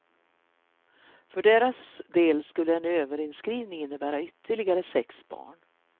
För deras del skulle en överinskrivning innebära ytterligare sex barn.